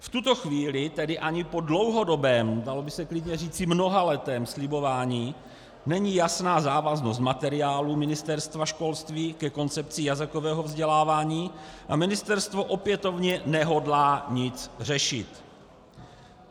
V tuto chvíli tedy ani po dlouhodobém, dalo by se klidně říci mnohaletém slibování není jasná závaznost materiálu Ministerstva školství ke koncepci jazykového vzdělávání a ministerstvo opětovně nehodlá nic řešit.